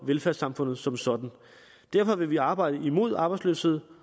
velfærdssamfundet som sådan derfor vil vi arbejde mod arbejdsløshed